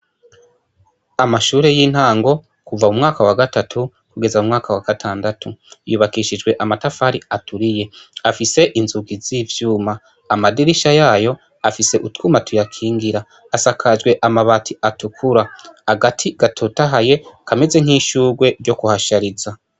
Amashuri y'intango kuva mu mwaka wagatatu kugeza mu mwaka wa gatandatu yubakishijwe amatafari aturiye afise inzugi zi vyuma amadirisha yayo afise utwuma tuyakingira asakajwe mabati atukura agati gatotahaye kameze nki shurwe ryo ku hashariza.